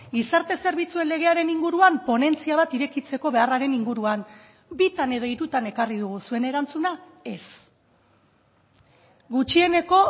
gizarte zerbitzuen legearen inguruan ponentzia bat irekitzeko beharraren inguruan bitan edo hirutan ekarri dugu zuen erantzuna ez gutxieneko